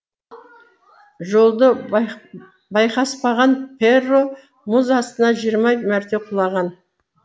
жолды байқаспаған перро мұз астына жиырма мәрте құлаған